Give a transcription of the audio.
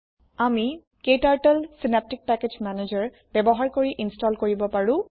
আমি ক্টাৰ্টল synaptic package manager ব্যৱহাৰ কৰি ইন্সটলকৰিব পাৰো